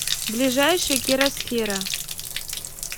ближайший керасфера